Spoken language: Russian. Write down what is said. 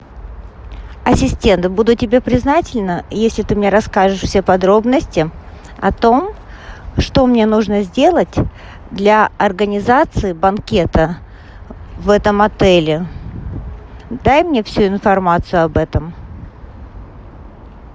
ассистент буду тебе признательна если ты мне расскажешь все подробности о том что мне нужно сделать для организации банкета в этом отеле дай мне всю информацию об этом